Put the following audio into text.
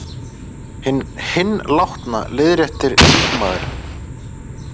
Hinn látna. leiðréttir líkmaðurinn.